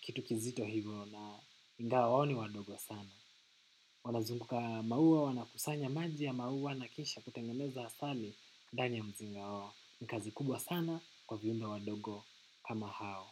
kitu kizito hivyo na ingawa wao ni wadogo sana. Wanazunguka maua wanakusanya maji ya maua na kisha kutengeneza asali ndani ya mzinga wao. Ni kazi kubwa sana kwa viumbe wadogo kama hao.